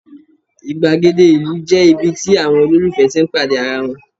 igbagede ìlú je ibi tí àwọn ololufẹ tí n pàdé ara wan